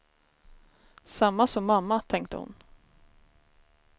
Samma som mamma, tänkte hon.